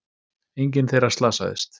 Enginn þeirra slasaðist